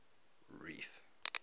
reef